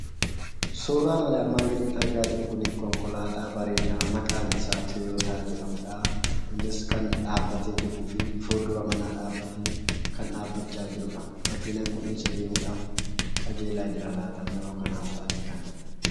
Suuraan armaan gadiitti argaa jirru kun konkolaataa bareedaa maqaan isaa Toyota jedhamudha. Innis fuldura manaa dhaabbatee kan jirudha. Makiinaan Kun eessa adeemuuf qajeelaa Jira laata?